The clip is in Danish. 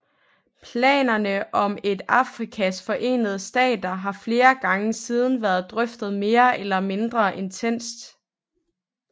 Planerne om et Afrikas Forenede Stater har flere gange siden været drøftet mere eller mindre intenst